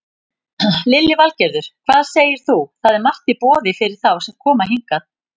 Lillý Valgerður: Hvað segir þú, það er margt í boði fyrir þá sem koma hingað?